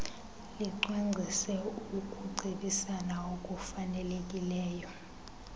licwangcise ukucebisana okufanelekileyo